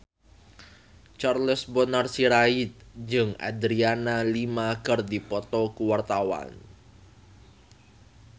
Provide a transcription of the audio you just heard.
Charles Bonar Sirait jeung Adriana Lima keur dipoto ku wartawan